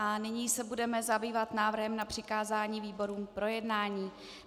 A nyní se budeme zabývat návrhem na přikázání výborům k projednání.